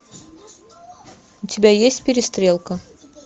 у тебя есть перестрелка